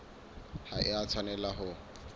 ha e a tshwanela ho